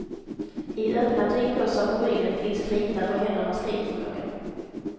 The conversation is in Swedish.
I öppna tygpåsar på ryggen finns krita för händernas gripförmåga.